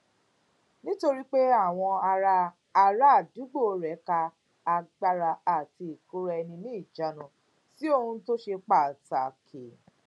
nítorí pé àwọn ará ará àdúgbò rè ka agbára àti ìkóraẹniníjàánu sí ohun tó ṣe pàtàkì